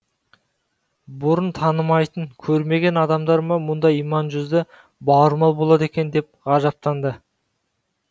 бұрын танымайтын көрмеген адамдар ма мұндай иман жүзді бауырмал болады екен деп ғажаптанды